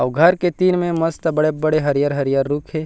अउ घर के तीर में मस्त बड़े-बड़े हरियर-हरियर रूप है।